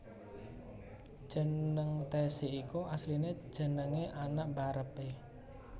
Jeneng Tessy iku asline jenenge anak mbarep e